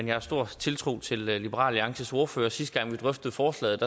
jeg har stor tiltro til liberal alliances ordfører og sidste gang vi drøftede forslaget